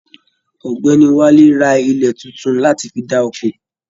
Ọ̀gbẹ́ni Wálé rà ilẹ títún láti fí dá'ko.